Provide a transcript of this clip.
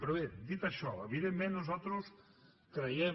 però bé dit això evidentment nosaltres creiem